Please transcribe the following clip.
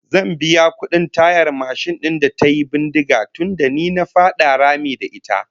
Zan biya kudin tayar mashin din da tayi bindiga tunda ni na fada rami da ita